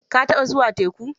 Ka taɓa zuwa teku?